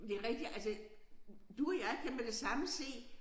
Men det rigtigt altså du og jeg kan med det samme se